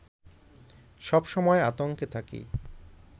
সব সময় আতঙ্কে থাকি